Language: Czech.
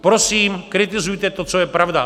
Prosím, kritizujte to, co je pravda.